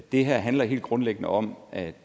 det her handler helt grundlæggende om at i